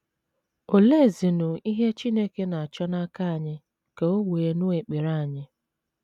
Oleezinụ ihe Chineke na - achọ n’aka anyị ka o wee nụ ekpere anyị?